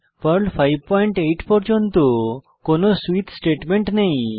Perl 58 পর্যন্ত কোনো switch statement নেই